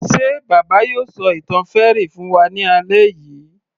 Ṣe bàbá yóò ṣọ ìtàn fairy fún wa ní alẹ́ yìí